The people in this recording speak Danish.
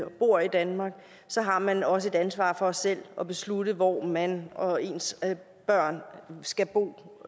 og bor i danmark så har man også et ansvar for selv at beslutte hvor man og ens børn skal bo